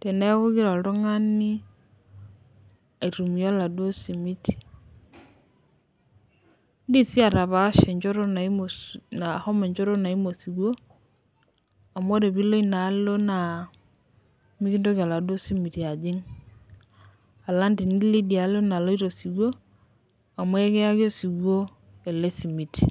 teneaku kelo oltungani aitumiya eladuo esimiti. Indim sii atapaasha enchoto naimu esiwuo amuore pilo inaalo naa mikintoki eladuo simiti ajing alang tenilo dialo naloto esiwuo amu akieki esiwuo ale simiti.